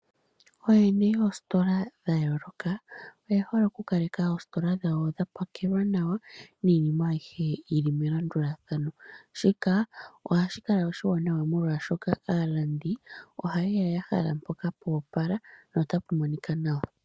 Ooyene yoostola dha yooloka oye hole oku kaleka oostola dhawo dha pakelwa nawa niinima ayihe yi li melandulathano. Shika ohashi kala oshiwaanawa molwa shoka aalandi oha yeya ya hala mpoka pwoopala na ota pu monika nawa.